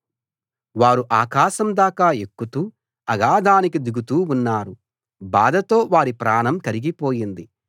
వారు ఆకాశందాకా ఎక్కుతూ అగాధానికి దిగుతూ ఉన్నారు బాధతో వారి ప్రాణం కరిగిపోయింది